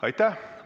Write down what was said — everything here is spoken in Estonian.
Aitäh!